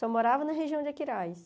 Só morava na região de Aquiraz.